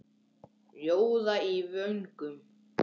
Rjóða í vöngum.